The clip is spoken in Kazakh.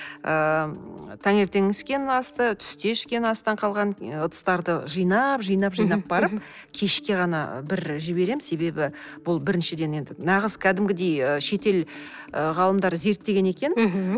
ыыы таңертеңгі ішкен астан түсте ішкен астан қалған ыдыстарды жинап жинап жинап барып кешке ғана бір жіберем себебі бұл біріншіден енді нағыз кәдімгідей ы шетел ғалымдары зерттеген екен мхм